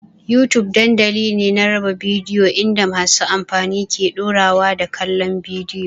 YouTube dandamali ne na raba bidiyo inda masu amfani ke ɗorawa da kallon bidiyo.